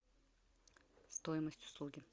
стоимость услуги